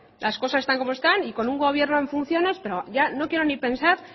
las cosas están como están y con un gobierno en funciones pero ya no quiero ni pensar